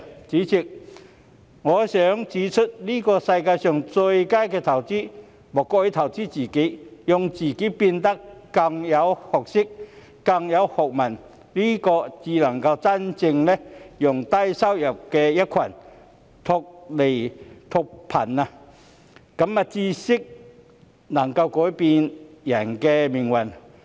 主席，我想指出，在這世界上最佳的投資，莫過於投資自己，讓自己變得更有學識、更有學問，這才能真正讓低收入的一群脫貧，因為知識能夠改變人的命運。